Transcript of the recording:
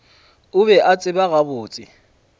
o be a tseba gabotse